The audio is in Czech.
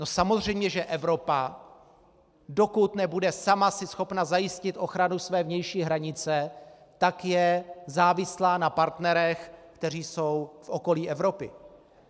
No samozřejmě, že Evropa, dokud nebude sama si schopna zajistit ochranu své vnější hranice, tak je závislá na partnerech, kteří jsou v okolí Evropy.